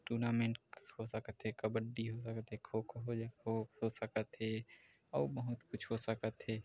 Tournament हो सकत थे कबड्डी हो सकत थे खो-खो हो हो सकत थे अउ बहुत कुछ हो सकत थे।